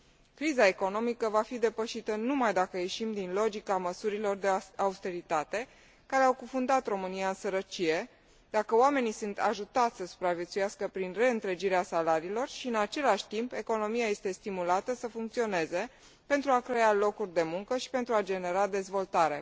Criza economică va fi depășită numai dacă ieșim din logica măsurilor de austeritate care au cufundat România în sărăcie, dacă oamenii sunt ajutați să supraviețuiască prin reîntregirea salariilor și, în același timp, economia este stimulată să funcționeze pentru a crea locuri de muncă și pentru a genera dezvoltare.